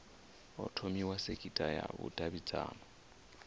ho thomiwa sekitha ya vhudavhidzano